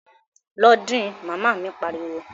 Lọ din! Màmá mi pariwo